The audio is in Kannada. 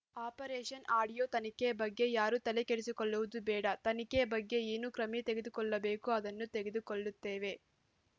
ಆಪರೇಷನ್ ಆಡಿಯೋ ತನಿಖೆ ಬಗ್ಗೆ ಯಾರೂ ತಲೆಕೆಡಿಸಿಕೊಳ್ಳುವುದು ಬೇಡ ತನಿಖೆ ಬಗ್ಗೆ ಏನು ಕ್ರಮೆ ತೆಗೆದುಕೊಳ್ಳಬೇಕೋ ಅದನ್ನು ತೆಗೆದುಕೊಳ್ಳುತ್ತೇವೇ